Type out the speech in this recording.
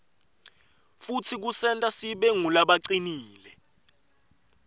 futsi kusenta sibe ngulabacinile